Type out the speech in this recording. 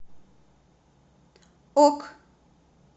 ок